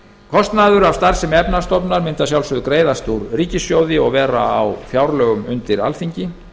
kostnaður af starfsemi efnahagsstofnunar mundi að sjálfsögðu greiðast úr ríkissjóði og vera á fjárlögum undir alþingi